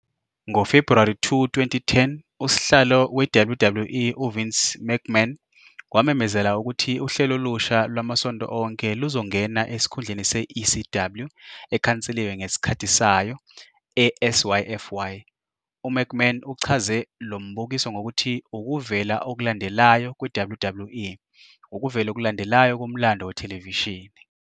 NgoFebhuwari 2, 2010, uSihlalo weWWE uVince McMahon wamemezela ukuthi uhlelo olusha lwamasonto onke luzongena esikhundleni se- "ECW" ekhanseliwe ngesikhathi sayo eSyfy. UMcMahon uchaze lo mbukiso ngokuthi "ukuvela okulandelayo kweWWE, ukuvela okulandelayo komlando wethelevishini".